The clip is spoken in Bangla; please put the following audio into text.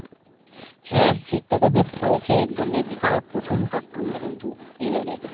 হ্যাঁ শীত টা তো বেশ পরেছে ধরলে বিশাল প্রচণ্ড ঠাণ্ডা কিন্তু এই বারে